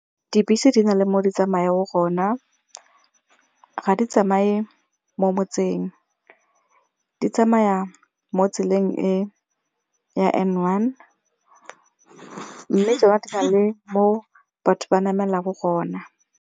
Dibese di nale mo di tsamayang gona, ga di tsamaye mo motseng di tsamayang mo tseleng e ya N one mo batho ba namelang gona.